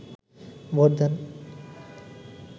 vote দেন